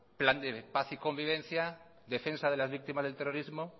plan de paz y convivencia defensa de las víctimas del terrorismo